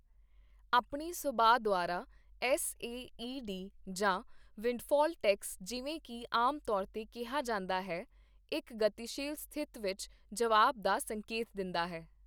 ਆਪਣੀ ਸੁਭਾਅ ਦੁਆਰਾ, ਐੱਸਏਈਡੀ ਜਾਂ ਵਿੰਡਫਾਲ ਟੈਕਸ, ਜਿਵੇਂ ਕੀ ਆਮ ਤੌਰ ਤੇ ਕਿਹਾ ਜਾਂਦਾ ਹੈ ਇੱਕ ਗਤੀਸ਼ੀਲ ਸਥਿਤ ਵਿੱਚ ਜਵਾਬ ਦਾ ਸੰਕੇਤ ਦਿੰਦਾ ਹੈ।